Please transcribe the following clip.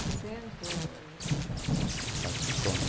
sessenta, setenta? Tem que fazer a conta.